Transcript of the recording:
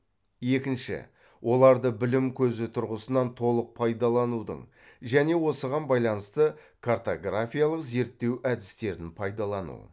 екінші оларды білім көзі тұрғысынан толық пайдаланудың және осыған байланысты картографиялық зерттеу әдістерін пайдалану